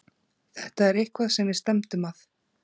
Þetta er eitthvað sem við stefndum að.